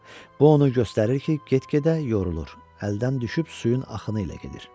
Bu onu göstərir ki, get-gedə yorulur, əldən düşüb suyun axını ilə gedir.